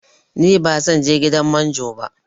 Ni ba zanje gidan manjo ba